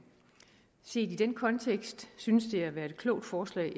set i den kontekst synes det at være et klogt forslag